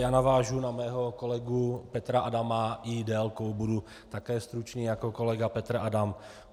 Já navážu na mého kolegu Petra Adama i délkou, budu také stručný jako kolega Petr Adam.